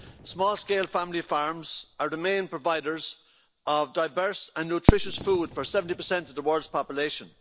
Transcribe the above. Small-scale family farms are the main providers of diverse and nutritious food for 70 of the world's population.